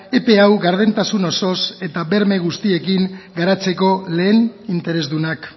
epe hau gardentasun osoz eta berme guztiekin garatzeko lehen interesdunak